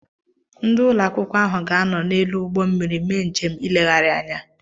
Ndị Ụlọ akwụkwọ áhù ga-ánọ̀ n'elu ụgbọ mmiri méé njem ịlégharị ányá